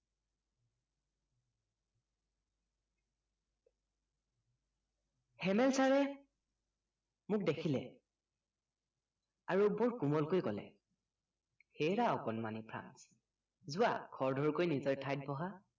হেমেল চাৰে মোক দেখিলে আৰু বৰ কোমলকৈ কলে হেৰা অকনমানি যোৱা খৰধৰকৈ নিজৰ ঠাইত বহা